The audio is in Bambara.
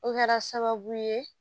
O kɛra sababu ye